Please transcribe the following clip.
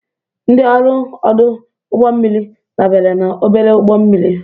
Ndị ọrụ ọdụ ụgbọ mmiri dabere na obere ụgbọ mmiri.